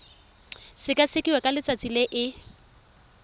sekasekiwa ka letsatsi le e